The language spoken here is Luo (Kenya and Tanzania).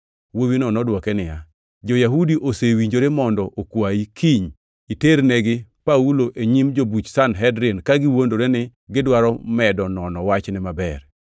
Wuowino nodwoke niya, “Jo-Yahudi osewinjore mondo okwayi kiny iternegi Paulo e nyim jobuch Sanhedrin ka giwuondore ni gidwaro medo nono wachne maber.